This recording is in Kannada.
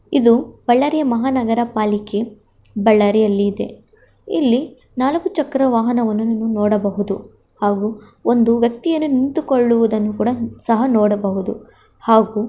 ಇದು ಬಳ್ಳಾರಿಯ ಮಹಾನಗರ ಪಾಲಿಕೆ ಬಳ್ಳಾರಿಯಲ್ಲಿ ಇದೆ. ಇಲ್ಲಿ ನಾಲ್ಕು ಚಕ್ರ ವಾಹನವನ್ನು ನೀವು ನೋಡಬಹುದು ಹಾಗೂ ಒಂದು ವ್ಯಕ್ತಿಯನ್ನು ನಿಂತಿಕೊಳ್ಳುವುದನ್ನು ಸಹ ನೋಡಬಹುದು ಹಾಗೂ --